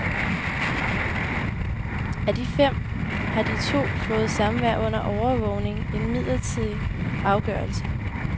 Af de fem har de to fået samvær under overvågning, en midlertidig afgørelse.